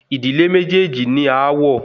Ìdílé méjèèjì ní aáwọ̀